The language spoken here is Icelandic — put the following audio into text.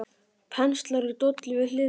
Penslar í dollu við hliðina.